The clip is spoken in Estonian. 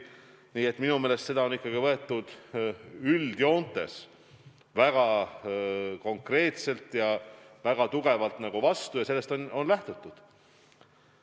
Nii et minu meelest seda on ikkagi võetud üldjoontes väga konkreetselt ja väga hästi vastu ja sellest on lähtutud.